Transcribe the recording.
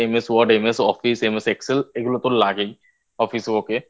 MS Word MS Oiffce MS Excel এগুলো তো লাগেই Office এ Ok